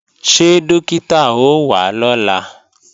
Ṣé Dókítà ó wá lọ́la?